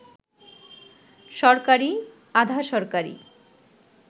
সরকারি, আধা-সরকারি